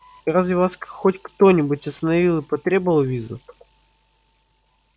разве вас хоть кто-нибудь остановил и потребовал визу